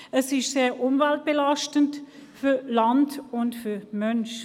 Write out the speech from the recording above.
Es ist umweltbelastend für Land und Mensch.